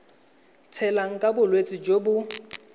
tshelang ka bolwetsi jo bo